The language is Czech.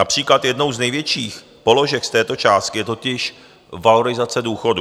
Například jednou z největších položek z této částky je totiž valorizace důchodů.